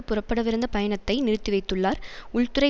புறப்படவிருந்த பயணத்தை நிறுத்திவைத்துள்ளார் உள்துறை